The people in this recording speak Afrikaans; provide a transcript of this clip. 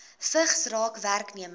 vigs raak werknemers